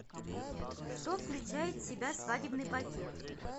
что включает в себя свадебный пакет